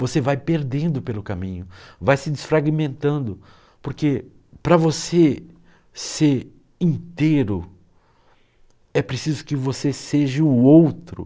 Você vai perdendo pelo caminho, vai se desfragmentando, porque para você ser inteiro, é preciso que você seja o outro.